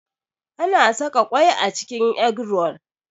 Ana saƙa kwai cikin egro